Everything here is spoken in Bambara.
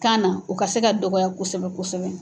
Kan na u ka se ka dɔgɔya kosɛbɛ kosɛbɛ.